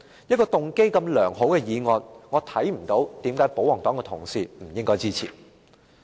一個動機如此良好的議案，我看不到為甚麼保皇黨同事不應該支持。